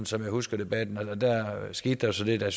som jeg husker debatten der skete så det da